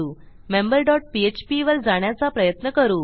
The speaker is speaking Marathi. मेंबर डॉट पीएचपी वर जाण्याचा प्रयत्न करू